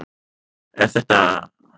En þetta er aðeins tilgáta.